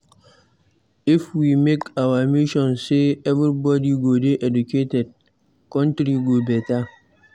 If we make am our mission say everybody go dey educated, country go better